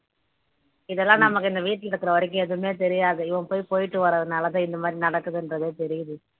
இதெல்லாம் நமக்கு இந்த வீட்டுல இருக்கற வரைக்கும் எதுவுமே தெரியாது இவன் போய் போயிட்டு வரதுனால இந்த மாரி நடக்குதுன்றதே தெரியுது